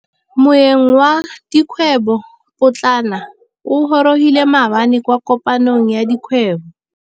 Moêng wa dikgwêbô pôtlana o gorogile maabane kwa kopanong ya dikgwêbô.